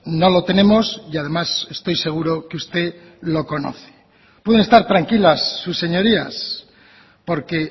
no lo tenemos y además estoy seguro que usted lo conoce pueden estar tranquilas sus señorías porque